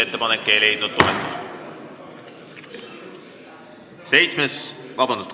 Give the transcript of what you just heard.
Ettepanek ei leidnud toetust.